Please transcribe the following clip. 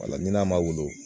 Wala ni n'a ma wolo